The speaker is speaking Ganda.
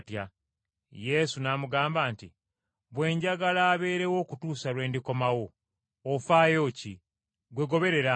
Yesu n’amugamba nti, “Bwe njagala abeerawo okutuusa lwe ndikomawo, ofaayo ki? Ggwe goberera Nze.”